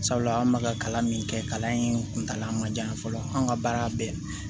Sabula an bɛ ka kalan min kɛ kalan in kuntala man jan yan fɔlɔ an ka baara bɛɛ